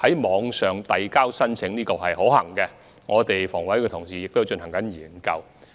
網上遞交申請是可行的，房委會的同事亦正就此進行研究。